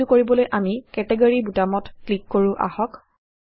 এইটো কৰিবলৈ আমি কেটগৰী বুটামত ক্লিক কৰো আহক